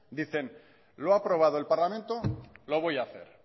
dicen lo ha aprobado el parlamento lo voy a hacer